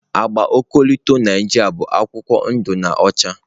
Agba ọkọlọtọ Naijiria bụ akwụkwọ ndụ na ọcha.